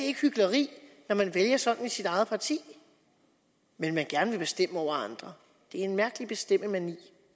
ikke hykleri når man vælger sådan i sit eget parti men gerne vil bestemme over andre det er en mærkelig bestemmemani